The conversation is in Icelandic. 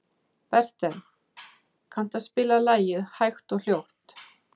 Bertel, kanntu að spila lagið „Hægt og hljótt“?